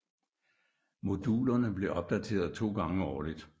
Modulerne blev opdateret to gange årligt